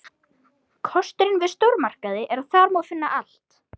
Kosturinn við stórmarkaði er að þar má finna allt.